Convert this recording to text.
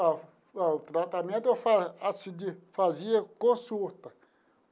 Ó ó o tratamento eu assim de fazia consulta.